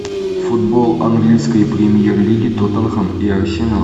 футбол английской премьер лиги тоттенхэм и арсенал